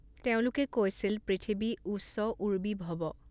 তেওঁলোকে কৈছিল, পৃথিৱী উঃচ উৰ্বী ভৱ।